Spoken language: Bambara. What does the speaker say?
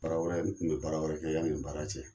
Baara wɛrɛ n tun bɛ baara wɛrɛ kɛ yanni nin baara cɛ.